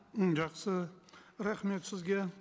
м жақсы рахмет сізге